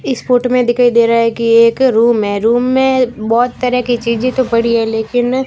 इस फोटो में दिखाई दे रहा है कि एक रूम है रूम में बहोत तरह की चीजें तो पड़ी है लेकिन--